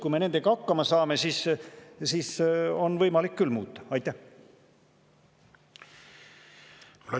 Kui me nendega hakkama saame, siis on võimalik muuta.